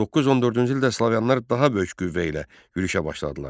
914-cü ildə slavyanlar daha böyük qüvvə ilə yürüşə başladılar.